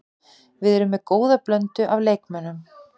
Við erum með góða blöndu af leikmönnum.